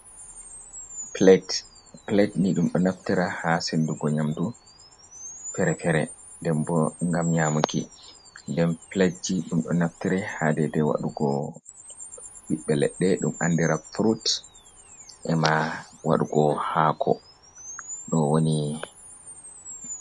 plad ni dum do naftira ha sendugo nyamdu ferefere, denbo gam nyamuki, nden platji dum do naftira ha dede wadugo biɓbe ledde dum andira fruit, ema wadugo hako do woni.